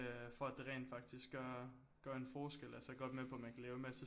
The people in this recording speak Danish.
Øh for at det rent faktisk gør gør en forskel altså jeg er godt med på at man kan lave en masse